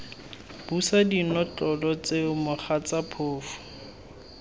busa dinotlolo tseo mogatsa phofu